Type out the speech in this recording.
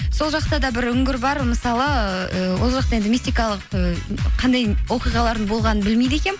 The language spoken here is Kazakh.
сол жақта да бір үңгір бар мысалы ыыы ол жақта енді мистикалық ы қандай оқиғалардың болғанын білмейді екенмін